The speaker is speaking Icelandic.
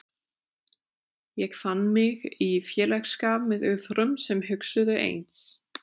Ég fann mig í félagsskap með öðrum sem hugsuðu eins.